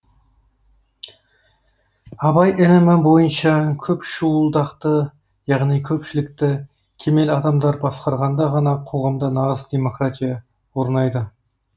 абай ілімі бойынша көп шуылдақты яғни көпшілікті кемел адамдар басқарғанда ғана қоғамда нағыз демократия орнайды